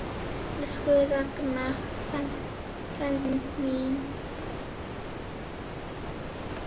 Elsku Ragnar frændi minn.